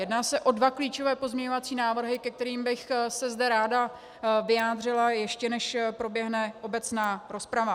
Jedná se o dva klíčové pozměňovací návrhy, ke kterým bych se zde ráda vyjádřila, ještě než proběhne obecná rozprava.